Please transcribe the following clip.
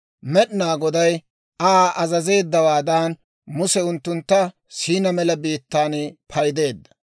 Med'inaa Goday Aa azazeeddawaadan, Muse unttuntta Siinaa mela biittaan paydeedda.